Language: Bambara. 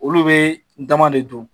Olu be dama de don